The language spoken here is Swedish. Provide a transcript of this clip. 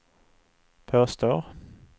påstår